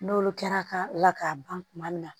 N'olu kɛra ka la k'a ban kuma min na